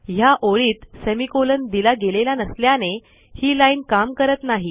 ह्या ओळीत सेमिकोलॉन दिला गेलेला नसल्याने ही लाईन काम करत नाही